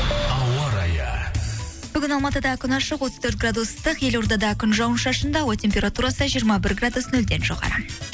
ауа райы бүгін алматыда күн ашық отыз төрт градус ыстық елордада күн жауын шашынды ауа температурасы жиырма бір градус нөлден жоғары